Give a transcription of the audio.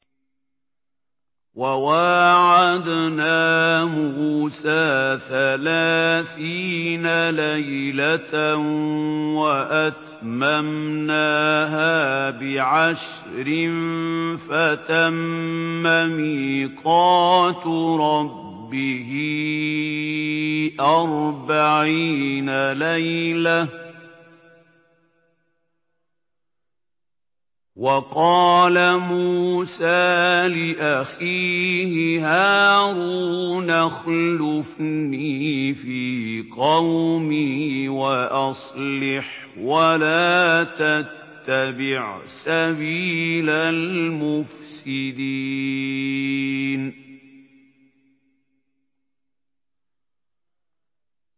۞ وَوَاعَدْنَا مُوسَىٰ ثَلَاثِينَ لَيْلَةً وَأَتْمَمْنَاهَا بِعَشْرٍ فَتَمَّ مِيقَاتُ رَبِّهِ أَرْبَعِينَ لَيْلَةً ۚ وَقَالَ مُوسَىٰ لِأَخِيهِ هَارُونَ اخْلُفْنِي فِي قَوْمِي وَأَصْلِحْ وَلَا تَتَّبِعْ سَبِيلَ الْمُفْسِدِينَ